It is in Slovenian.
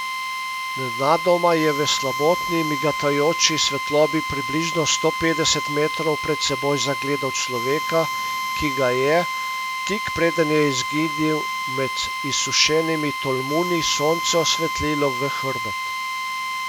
Nenadoma je v slabotni migotajoči svetlobi približno sto petdeset metrov pred seboj zagledal človeka, ki ga je, tik preden je izginil med izsušenimi tolmuni, sonce osvetlilo v hrbet.